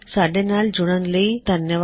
ਸਾਡੇ ਨਾਲ ਜੁੜਨ ਲਈ ਧੰਨਵਾਦ